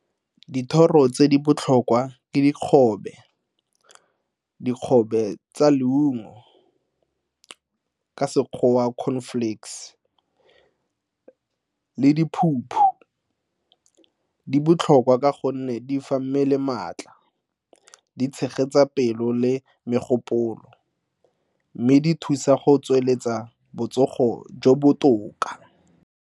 Dithoro tse di botlhokwa ke dikgobe, dikgobe tsa leungo, ka Sekgowa cornflakes le diphuphu. Di botlhokwa ka gonne di fa mmele maatla, di tshegetsa pelo le megopolo mme di thusa go tsweletsa botsogo jo botoka.